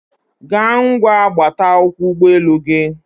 gaa ngwa gbata akwụkwọ ụgbọelu gị